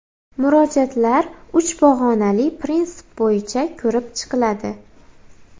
Murojaatlar uch pog‘onali prinsip bo‘yicha ko‘rib chiqiladi.